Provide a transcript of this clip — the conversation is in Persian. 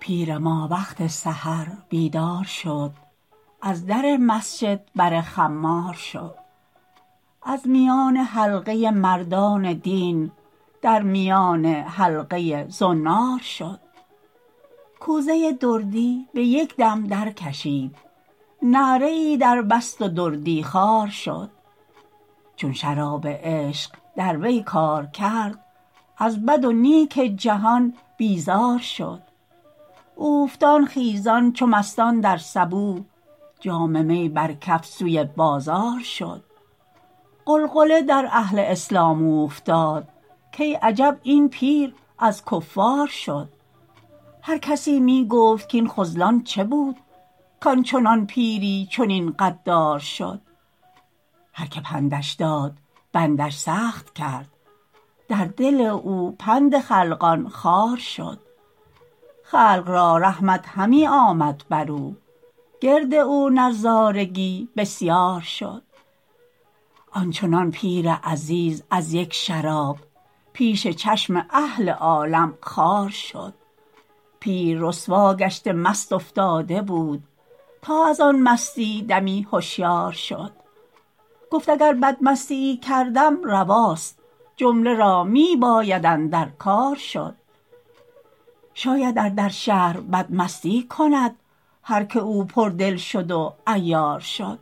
پیر ما وقت سحر بیدار شد از در مسجد بر خمار شد از میان حلقه مردان دین در میان حلقه زنار شد کوزه دردی به یک دم درکشید نعره ای دربست و دردی خوار شد چون شراب عشق در وی کار کرد از بد و نیک جهان بیزار شد اوفتان خیزان چو مستان صبوح جام می بر کف سوی بازار شد غلغلی در اهل اسلام اوفتاد کای عجب این پیر از کفار شد هر کسی می گفت کین خذلان چبود کان چنان پیری چنین غدار شد هرکه پندش داد بندش سخت کرد در دل او پند خلقان خار شد خلق را رحمت همی آمد بر او گرد او نظارگی بسیار شد آنچنان پیر عزیز از یک شراب پیش چشم اهل عالم خوار شد پیر رسوا گشته مست افتاده بود تا از آن مستی دمی هشیار شد گفت اگر بدمستیی کردم رواست جمله را می باید اندر کار شد شاید ار در شهر بد مستی کند هر که او پر دل شد و عیار شد